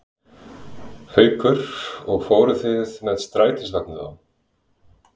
Haukur: Og fóruð þið með strætisvagni þá?